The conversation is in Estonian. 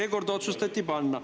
Seekord otsustati panna.